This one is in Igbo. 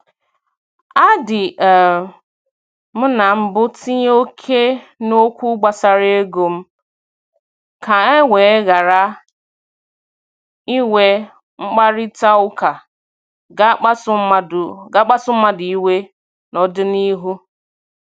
A dị um m na mbụ tinye oke n'okwu gbasara ego m, ka e wee ghara inwe mkparịtaụka ga- akpasu mmadụ iwe n'ọdịnihu.